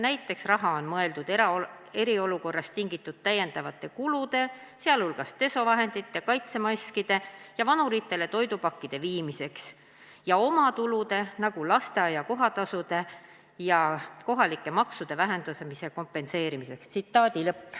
Näiteks on raha mõeldud eriolukorrast tingitud täiendavate kulude, sealhulgas desovahendite, kaitsemaskide või vanuritele toidupakkide viimiseks ja omatulude, aga ka lasteaia kohatasude ja kohalike maksude vähenemise kompenseerimiseks.